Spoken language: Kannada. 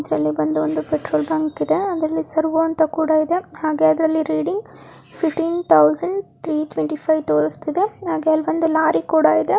ಇದ್ರಲ್ಲಿ ಬಂದು ಒಂದು ಪೆಟ್ರೋಲ್ ಬಂಕ್ ಇದೇ ಅದ್ರಲ್ಲಿ ಸರ್ವೋ ಅಂತ ಕೂಡ ಇದೆ ಹಾಗೇ ಅದ್ರಲ್ಲಿ reading fifteen thousand three twenty five ತೋರಿಸ್ತಿದೆ ಹಾಗೆ ಅಲ್ಲೊಂದು ಲಾರಿ ಕೂಡ ಇದೆ.